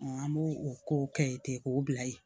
an b'o o kow kɛ ten k'o bila yen